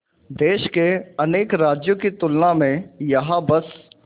देश के अनेक राज्यों की तुलना में यहाँ बस